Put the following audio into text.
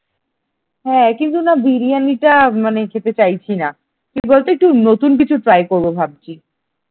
হ্যাঁ কিন্তু না বিরিয়ানিটা মানে খেতে চাইছি না কি বলতো একটু নতুন কিছু try করবো ভাবছি ।